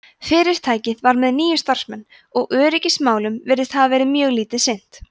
fyrirtækið var með níu starfsmenn og öryggismálum virðist hafa verið mjög lítið sinnt